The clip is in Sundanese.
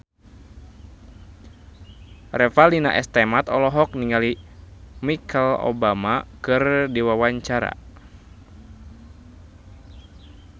Revalina S. Temat olohok ningali Michelle Obama keur diwawancara